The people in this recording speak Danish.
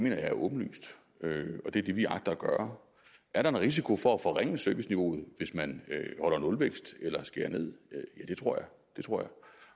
jeg er åbenlyst og det er det vi agter at gøre er der en risiko for at forringe serviceniveauet hvis man holder nulvækst eller skærer ned ja det tror jeg